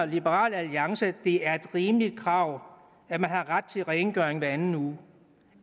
liberal alliance mener det er rimelige krav at man har ret til rengøring hver anden uge